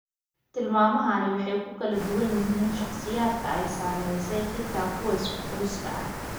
Tilmaamahani way ku kala duwan yihiin shakhsiyaadka ay saamaysay xataa kuwa isku qoyska ah.